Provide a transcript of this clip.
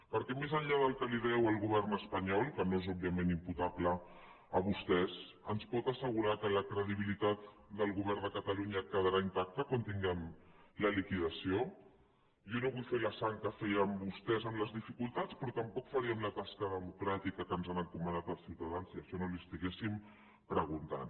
perquè més enllà del que li deu el govern espanyol que no és òbviament imputable a vostès ens pot assegurar que la credibilitat del govern de catalunya quedarà intacta quan tinguem la liquidació jo no vull ver la sang que feien vostès amb les dificultats però tampoc faríem la tasca democràtica que ens han encomanat els ciutadans si això no li ho estiguéssim preguntant